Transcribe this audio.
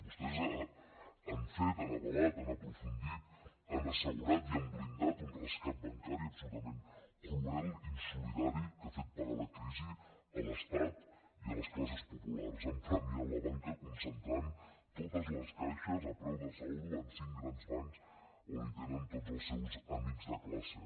vostès han fet han avalat han aprofundit han assegurat i han blindat un rescat bancari absolutament cruel insolidari que ha fet pagar la crisi a l’estat i a les classes populars han premiat la banca concentrant totes les caixes a preu de saldo en cinc grans bancs on hi tenen tots els seus amics de classe